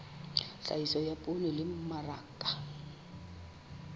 tlhahiso ya poone le mmaraka